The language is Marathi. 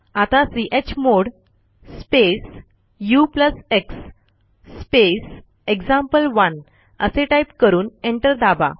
आता chmod space ux space example one असे टाईप करून एंटर दाबा